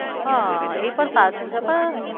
હા એ પણ સાચું છે. તો